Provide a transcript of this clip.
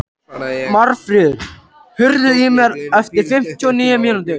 Marfríður, heyrðu í mér eftir fimmtíu og níu mínútur.